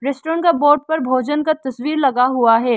Restaurant का board पर भोजन का तस्वीर लगा हुआ है।